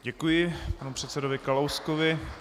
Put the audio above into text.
Děkuji panu předsedovi Kalouskovi.